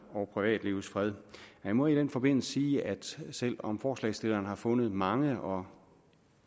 og privatlivets fred man må i den forbindelse sige at selv om forslagsstillerne har fundet mange og